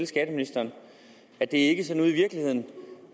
skatteministeren at det ikke er sådan ude i virkeligheden